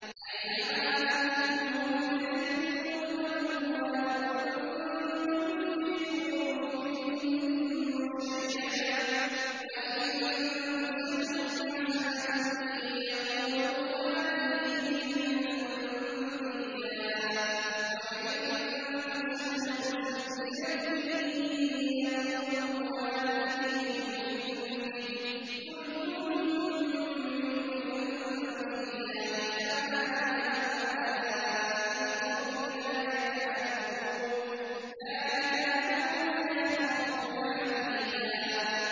أَيْنَمَا تَكُونُوا يُدْرِككُّمُ الْمَوْتُ وَلَوْ كُنتُمْ فِي بُرُوجٍ مُّشَيَّدَةٍ ۗ وَإِن تُصِبْهُمْ حَسَنَةٌ يَقُولُوا هَٰذِهِ مِنْ عِندِ اللَّهِ ۖ وَإِن تُصِبْهُمْ سَيِّئَةٌ يَقُولُوا هَٰذِهِ مِنْ عِندِكَ ۚ قُلْ كُلٌّ مِّنْ عِندِ اللَّهِ ۖ فَمَالِ هَٰؤُلَاءِ الْقَوْمِ لَا يَكَادُونَ يَفْقَهُونَ حَدِيثًا